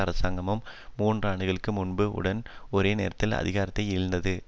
அரசாங்கமும் மூன்று ஆண்டுகளுக்கு முன்பு உடன் ஒரே நேரத்தில் அதிகாரத்தை இழந்தது